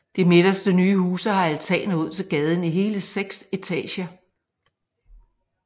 De midterste nye huse har altaner ud til gaden i hele seks etager